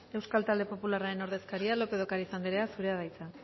euskal talde popularraren ordezkaria lópez de ocariz anderea zurea da hitza